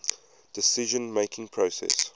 decision making process